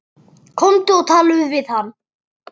Komdu og talaðu við hann!